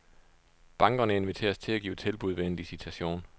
Bankerne inviteres til at give tilbud ved en licitation.